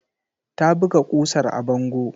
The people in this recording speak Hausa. Ta buga ƙusar a bango.